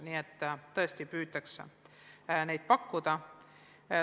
Nii et tõesti püütakse koolitust pakkuda.